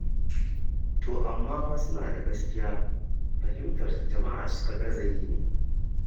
To amma fa suna da gaskiya fahimtarsu jama'a suka gaza yi ne.